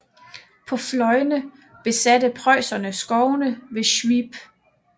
På fløjene besatte preusserne skovene ved Swiep